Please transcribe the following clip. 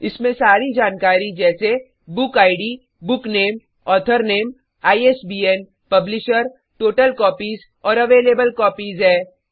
इसमें सारी जानकारी जैसे book ID book name author name ISBN publisher total copies और अवेलेबल कॉपीज है